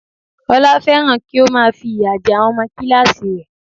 Olá fẹ́ràn kí ó má a fìyà jẹ àwọn ọmọ kíláàsì rẹ̀